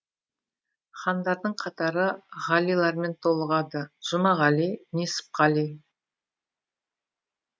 хандардың қатары ғалилармен толығады жұмағали несіпқали